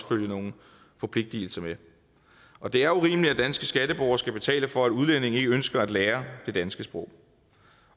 følge nogle forpligtelser med og det er urimeligt at danske skatteborgere skal betale for at udlændinge ikke ønsker at lære det danske sprog